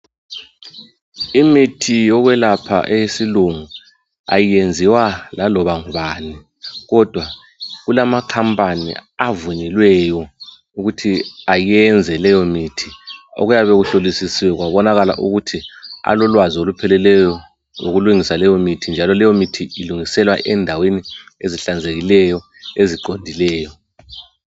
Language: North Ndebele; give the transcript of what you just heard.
Imithi yokwelapha eyesilungu ayenziwa laloba ngubani, kodwa kulamakhampani avunyelweyo ukuthi ayenze leyo mithi okuyaba kuhlolisisiwe kwabonakala ukuthi alolwazi olupheleleyo ngokulungisa leyo mithi, njalo leyo mithi ilungiselwa endaweni ezihlanzekileyo, eziqondileyo.